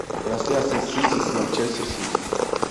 трансляция сити с манчестер сити